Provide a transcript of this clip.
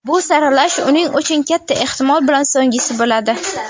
Bu saralash uning uchun katta ehtimol bilan so‘nggisi bo‘ladi.